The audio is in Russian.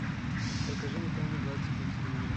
покажи мне тайны галактики на телевизоре